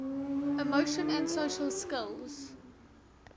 emotion and social skills